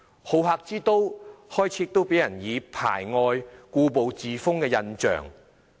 好客之都開始給人排外、故步自封的印象。